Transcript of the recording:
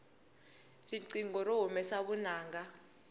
riqingho ri humesa vunanga